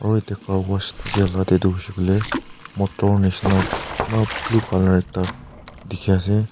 aru etia car wash thaki la teh tu hoise koiley motor nisna la blue colour ekta dikhi ase.